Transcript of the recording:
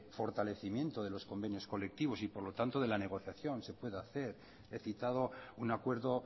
fortalecimiento de los convenios colectivos y por lo tanto de la negociación se puede hacer he citado un acuerdo